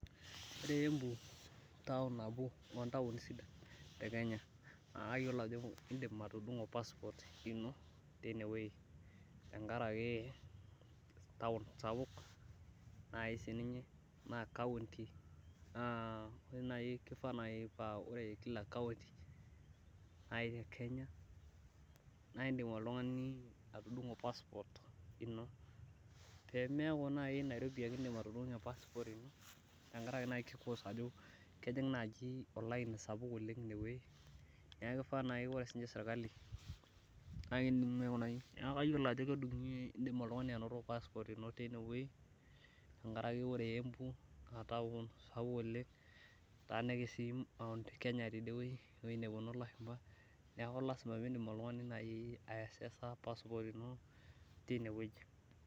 Ore embu nabo oo ntaoni sidan te Kenya, kayioolo ajo idim atudungo passport ino tine wueji tenkaraki taon sapuk, naaji sii ninye naa kaunti, naa ore naaji, kifaa naji paa ore Kila kaunti, naai te Kenya naa idim oltungani, atudungo passport ino. pee meekure naaji nairobi ake idim atudungie, pee neku naaji kejing' olaini sapuk ine wueji, neeku kifaa naaji ore sirkali, naa kayioolo ajo kidim oltungani anoto passport ino tine wueji, tenkaraki ore embu naa taon sapuk oleng. etaanikis sii Mt Kenya tede wueji, ewueji nepuony lashumpa. neeku idim oltungani naaji ae access passport ino tine wueji.